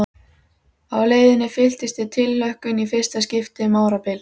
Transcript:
Á leiðinni fylltist ég tilhlökkun í fyrsta skipti um árabil.